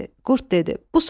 Qurd dedi: